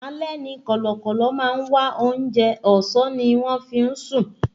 Alẹ́ ni kọ̀lọ̀kọ̀lọ̀ máa ń wá oúnjẹ, ọ̀sán ni wọ́n fí ń sùn